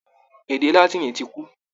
Èdè látìnì tí kú.